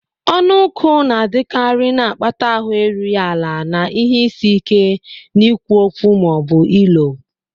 Ọnụ nkụ na-adịkarị, na-akpata ahụ erughị ala na ihe isi ike n'ikwu okwu ma ọ bụ ilo.